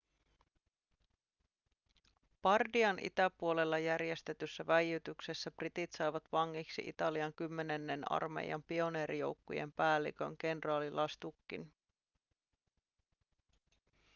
bardian itäpuolella järjestetyssä väijytyksessä britit saivat vangiksi italian kymmenennen armeijan pioneerijoukkojen päällikön kenraali lastuccin